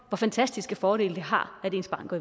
hvor fantastiske fordele det har at ens barn går